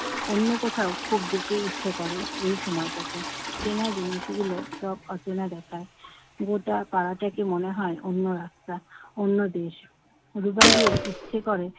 অন্য কোথাও খুব যেতে ইচ্ছে করে এই সময়টাতে। চেনা জিনিসগুলো সব অচেনা দেখায়। গোটা পাড়াটাকে মনে হয় অন্য রাস্তা অন্যদেশ। রুবাইয়ের ইচ্ছে করে